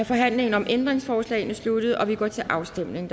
forhandlingen om ændringsforslagene sluttet og vi går til afstemning